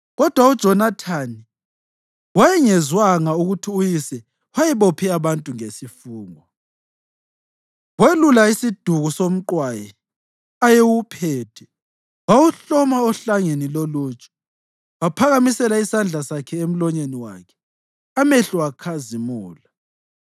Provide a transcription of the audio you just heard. Kodwa uJonathani wayengezwanga ukuthi uyise wayebophe abantu ngesifungo, welula isiduku somqwayi ayewuphethe wawuhloma ohlangeni loluju. Waphakamisela isandla sakhe emlonyeni wakhe, amehlo akhazimula.